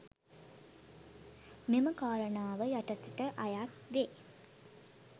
මෙම කාරණාව යටතට අයත් වේ